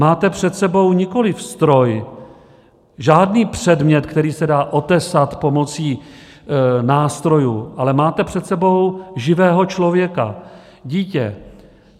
Máte před sebou nikoliv stroj, žádný předmět, který se dá otesat pomocí nástrojů, ale máte před sebou živého člověka, dítě.